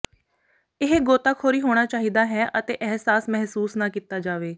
ਇਹ ਗੋਤਾਖੋਰੀ ਹੋਣਾ ਚਾਹੀਦਾ ਹੈ ਅਤੇ ਅਹਿਸਾਸ ਮਹਿਸੂਸ ਨਾ ਕੀਤਾ ਜਾਵੇ